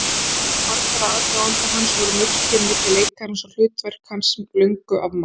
Í hugum margra aðdáenda hans voru mörkin milli leikarans og hlutverka hans löngu afmáð.